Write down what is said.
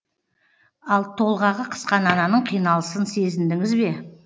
ал толғағы қысқан ананың қиналысын сезіндіңіз бе